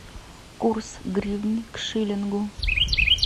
курс гривны к шиллингу